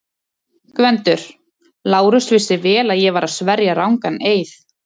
GVENDUR: Lárus vissi vel að ég var að sverja rangan eið.